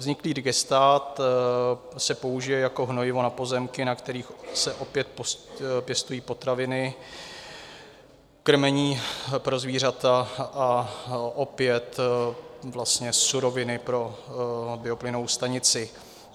Vzniklý digestát se použije jako hnojivo na pozemky, na kterých se opět pěstují potraviny, krmení pro zvířata a opět vlastně suroviny pro bioplynovou stanici.